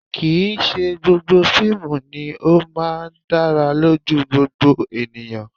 Kì̀ í ṣe gbogbo fíìmù ni ó máa ń dára lójú gbogbo ènìyàn